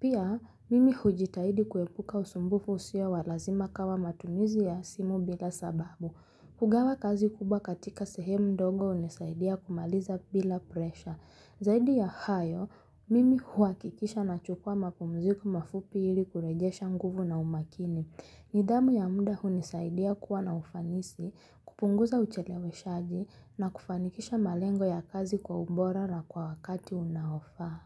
Pia, mimi hujitahidi kuepuka usumbufu usio wa lazima kawa matumizi ya simu bila sababu. Kugawa kazi kubwa katika sehemu ndogo hunisaidia kumaliza bila presha. Zaidi ya hayo, mimi huhakikisha nachukua mapumziko mafupi ili kurejesha nguvu na umakini. Nidhamu ya muda hunisaidia kuwa na ufanisi, kupunguza ucheleweshaji na kufanikisha malengo ya kazi kwa ubora na kwa wakati unaofaa.